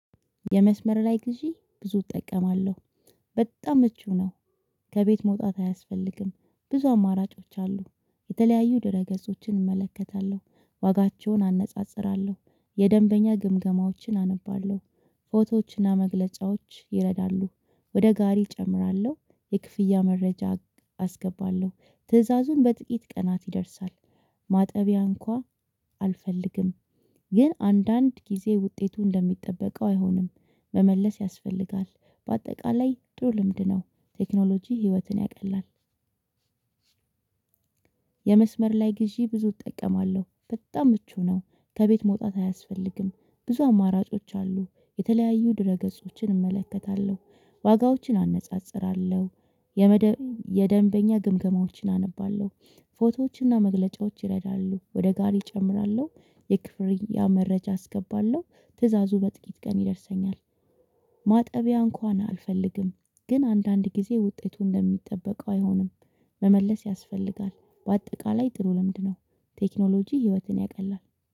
የመስመር ላይ ግዢ ብዙ እጠቀማለሁ በጣም ምቹ ነው። ከቤት መውጣት አያስፈልግም ብዙ አማራጮች አሉ የተለያዩ ድረ ገጾችን እመለከታለሁ ዋጋቸውን አነጻጽራለሁ የደንበኛ ግምገማዎችን አነባለሁ። ፎቶዎችና መግለጫዎች ይረዳሉ ወደ ጋሪ እጨምራለሁ የክፍያ መረጃ አስገባለሁ ትዕዛዙን በጥቂት ቀናት ይደርሳል። ማጠቢያ እንኳን አልፈልግም። ግን አንዳንድ ጊዜ ውጤቱ እንደሚጠበቀው አይሆንም። መመለስ ያስፈልጋል በአጠቃላይ ጥሩ ልምድ ነው። ቴክኖሎጂ ህይወትን ያቀላል። የመስመር ላይ ግዢ ብዙ እጠቀማለሁ በጣም ምቹ ነው። ከቤት መውጣት አያስፈልግም ብዙ አማራጮች አሉ የተለያዩ ድረ ገጾችን እመለከታለሁ ዋጋዎችን አነጻጽራለሁ የመደ የደንበኛ ግምገማዎችን አነባለሁ። ፎቶዎችና መግለጫዎች ይረዳሉ ወደ ጋሪ እጨምራለሁ የክፍር ያ መረጃ አስገባለሁ ትእዛዙ በጥቂት ቀን ይደርሰኛል። ማጠቢያ እንኳን አልፈልግም። ግን አንዳንድ ጊዜ ውጤቱ እንደሚጠበቀው አይሆንም። መመለስ ያስፈልጋል በአጠቃላይ ጥሩ ልምድ ነው። ቴክኖሎጂ ህይወትን ያቀላል